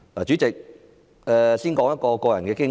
主席，我先說一段個人的經歷。